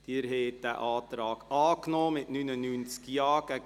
Sie haben diesen Antrag angenommen mit 99 Ja- zu 36 Nein-Stimmen bei 8 Enthaltungen.